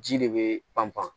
Ji de bee panpan